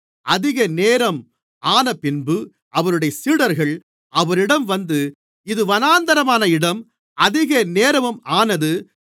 அதிகநேரம் ஆனபின்பு அவருடைய சீடர்கள் அவரிடம் வந்து இது வனாந்திரமான இடம் அதிகநேரமும் ஆனது